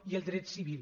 i el dret civil